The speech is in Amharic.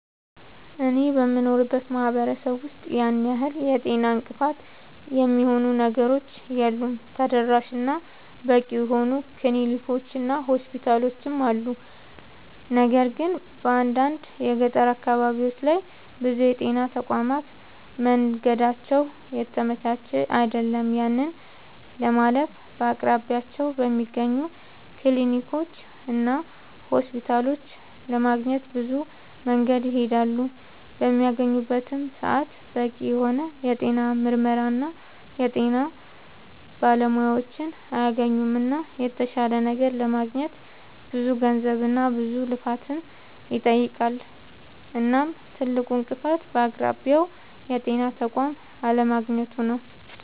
አኔ በምኖርበት ማህበረሰብ ውስጥ ያን ያህል የጤና እንቅፋት የሚሆኑ ነገሮች የሉም ተደራሽ እና በቂ የሆኑ ክሊኒኮች እና ሆስፒታሎችም አሉ። ነገር ግን በአንዳንድ የገጠር አካባቢዎች ላይ ብዙ የጤና ተቋማት መንገዳቸው የተመቻቸ አይደለም። ያንን ለማለፍ በአቅራቢያቸው በሚገኙ ክሊኒኮችና ሆስፒታሎች ለማግኘት ብዙ መንገድን ይሄዳሉ። በሚያገኙበትም ሰዓት በቂ የሆነ የጤና ምርመራና የጤና ባለሙያዎችን አያገኙምና የተሻለ ነገር ለማግኘት ብዙ ገንዘብና ብዙ ልፋትን ይጠይቃል። እናም ትልቁ እንቅፋት በአቅራቢያው የጤና ተቋም አለማግኘቱ ነዉ